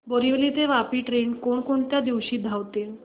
बोरिवली ते वापी ट्रेन कोण कोणत्या दिवशी धावते